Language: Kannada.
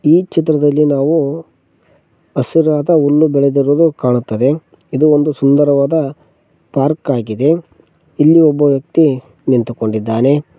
ಈ ಚಿತ್ರದಲ್ಲಿ ನಾವು ಹಸಿರಾದ ಹುಲ್ಲು ಬೆಳೆದಿರೋದು ಕಾಣುತ್ತದೆ ಇದು ಒಂದು ಸುಂದರವಾದ ಪಾರ್ಕ್ ಆಗಿದೆ ಇಲ್ಲಿ ಒಬ್ಬ ವ್ಯಕ್ತಿ ನಿಂತುಕೊಂಡಿದ್ದಾನೆ.